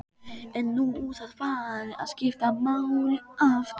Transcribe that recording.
En nú er það farið að skipta máli aftur?